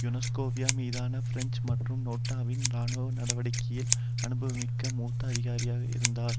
Yugoslavia மீதான French மற்றும் நோட்டோவின் இராணுவ நடவடிக்கையில் அனுபவமிக்க மூத்த அதிகாரியாக இருந்தார்